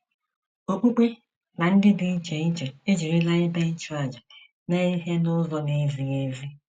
Okpukpe na ndị dị iche iche ejirila ebe ịchụàjà mee ihe n'ụzọ na-ezighị ezi.